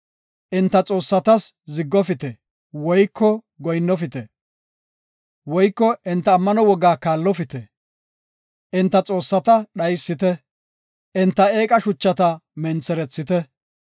Enta xoossatas ziggofite woyko goyinnofite, woyko enta ammano wogaa kaallopite. Enta xoossata dhaysite, enta eeqa shuchata mentherethite.